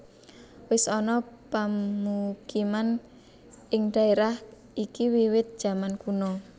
Wis ana pamukiman ing dhaérah iki wiwit zaman kuna